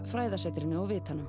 fræðasetrinu og vitanum